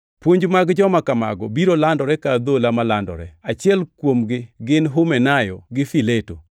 Puonj mag joma kamago biro landore ka adhola malandore. Achiel kuomgi gin Humenayo gi Fileto,